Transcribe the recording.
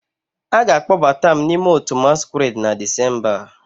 A ga-akpọbata m n'ime otu masquerade na Disemba a